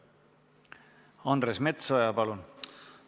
Andres Metsoja, palun!